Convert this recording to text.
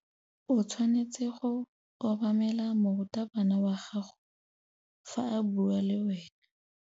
O tshwanetse go obamela morutabana wa gago fa a bua le wena.